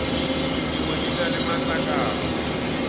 dingwe di na le matlakala